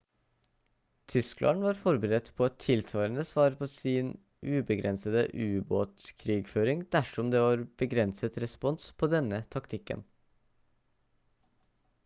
tyskland var forberedt på et tilsvarende svar på sin ubegrensede ubåtkrigføring ettersom det var begrenset respons på denne taktikken